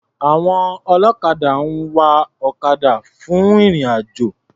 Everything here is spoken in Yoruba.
Àwọn ọlọ́kadà máa ń wa ọ̀kadà fún ìrìn-àjò.